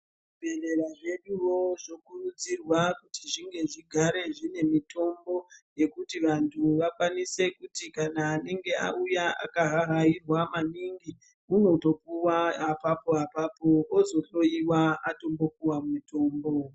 Zvibhedhlera zvedu wo zvokuridzirwa kuti zvigare zvine mutombo yekuti vantu vakwanise kuti kana anenge auya akahahayirwa maningi anopiwa apapo apapo ozohloyiwa atombopiwa mutombo.